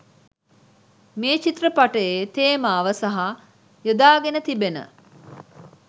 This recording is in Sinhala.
මේ චිත්‍රපටියේ තේමාව සහ යොදාගෙන තිබෙන